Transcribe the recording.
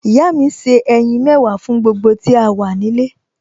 Ìyá mi se ẹyin mẹ́wàá fún gbogbo tí a wà nílé